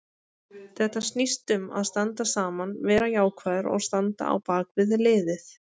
Þetta snýst um að standa saman, vera jákvæður og standa á bakvið liðið.